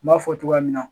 N b'a fɔ cogoya min na